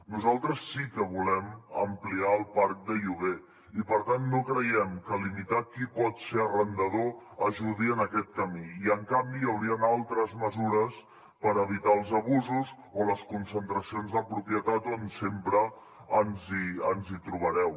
nosaltres sí que volem ampliar el parc de lloguer i per tant no creiem que limitar qui pot ser arrendador ajudi en aquest camí i en canvi hi haurien altres mesures per evitar els abusos o les concentracions de propietat on sempre ens trobareu